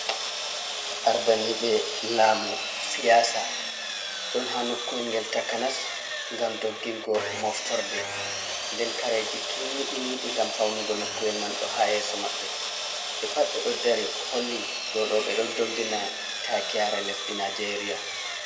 Ardaniɓe lamu siyasa ɗon ha nokkuwel ngel takanas ngam doggigo moftorde, nden kareji kimmiɗiniɗi ngam faunugo nokkuwel man ɗo ha yeso maɓɓe, ɓe pat ɓe ɗo dari holli ɗou ɗo ɓe ɗo doggina takiyare lesdi nijeria.